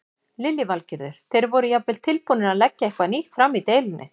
Lillý Valgerður: Þeir voru jafnvel tilbúnir að leggja eitthvað nýtt fram í deilunni?